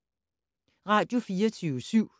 Radio24syv